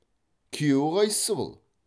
күйеу қайсы бұл